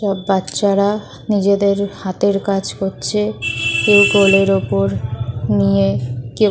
সব বাচ্ছারা নিজেদের হাত এর কাজ করছে কেউ কোলের ওপর নিয়ে কেউ--